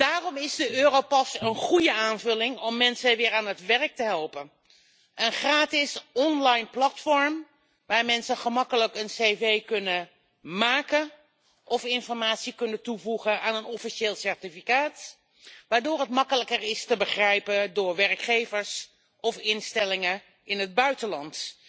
Daarom is de Europass een goede aanvulling om mensen weer aan het werk te helpen een gratis onlineplatform waar mensen gemakkelijk een cv kunnen aanmaken of informatie kunnen toevoegen aan een officieel certificaat waardoor het eenvoudiger te begrijpen is voor werkgevers of instellingen in het buitenland.